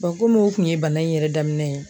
komi o kun ye bana in yɛrɛ daminɛ ye